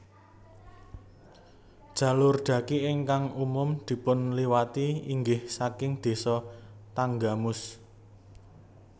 Jalur dhaki ingkang umum dipun liwati inggih saking Désa Tanggamus